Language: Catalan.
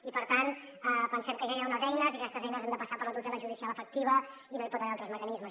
i per tant pensem que ja hi ha unes eines i que aquestes eines han de passar per la tutela judicial efectiva i no hi pot haver altres mecanismes